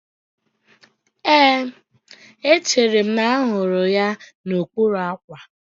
Éè, echere m na mụ hụrụ ya n'okpuru àkwà